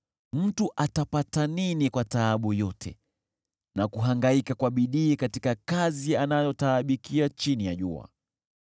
Mtu atapata nini kwa taabu yote na kuhangaika kwa bidii katika kazi anayotaabikia chini ya jua?